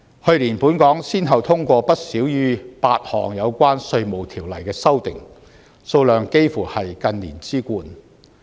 去年本港先後通過不少於8項有關《稅務條例》的修訂，數量幾乎是近年之冠。